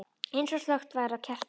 Eins og slökkt væri á kerti.